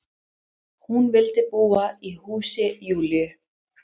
Hún vildi búa í húsi Júlíu.